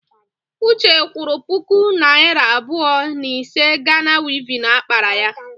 Uche kwụrụ puku naịra abụọ n'ísí Gana wivin akpara ya.